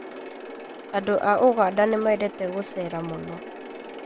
Andũ a ũganda nĩmendete gũcera mũno